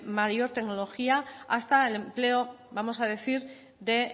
mayor tecnología hasta el empleo vamos a decir de